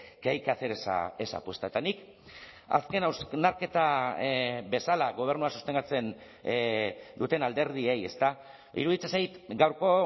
que hay que hacer esa apuesta eta nik azken hausnarketa bezala gobernua sostengatzen duten alderdiei iruditzen zait gaurko